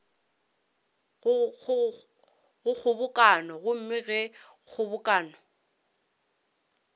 go kgobokano gomme ge kgobokano